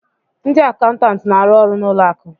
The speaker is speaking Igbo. Ndị akaụntantị na-arụ ọrụ na ụlọ akụ